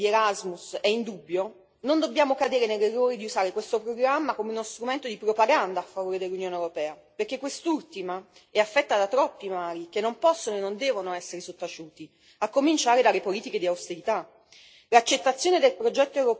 Se però il successo di Erasmus è indubbio, non dobbiamo cadere nell'errore di usare questo programma come uno strumento di propaganda a favore dell'Unione europea, perché quest'ultima è affetta da troppi mali che non possono e non devono essere sottaciuti, a cominciare dalle politiche di austerità.